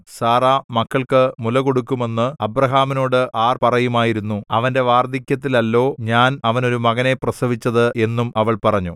Sarah മക്കൾക്ക് മുലകൊടുക്കുമെന്ന് അബ്രാഹാമിനോട് ആർ പറയുമായിരുന്നു അവന്റെ വാർദ്ധക്യത്തിലല്ലോ ഞാൻ അവന് ഒരു മകനെ പ്രസവിച്ചത് എന്നും അവൾ പറഞ്ഞു